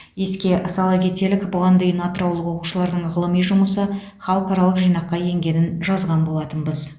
еске сала кетелік бұған дейін атыраулық оқушылардың ғылыми жұмысы халықаралық жинаққа енгенін жазған болатынбыз